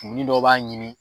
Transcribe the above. Kun dɔ b'a ɲimi